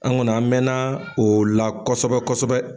An kɔni an mɛn na o la kɔsɔbɛ kɔsɔbɛ.